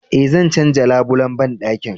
Eh, zan canja labulen bandakin